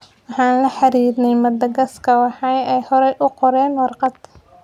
"Waxaan la xiriirnay Madagascar, waxaana ay horey u qoreen warqad."